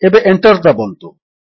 ଏବେ Enter ଦାବନ୍ତୁ